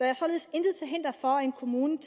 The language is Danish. er således intet til hinder for at en kommune